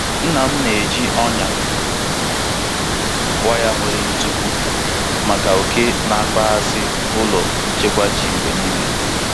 Nna m na-eji ọnyà waya nwere ntupu maka oke na-akpaghasị ụlọ nchekwa ji ya mgbe niile.